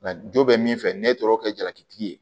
Nka jo bɛ min fɛ n'e taara o kɛ jalakitigi ye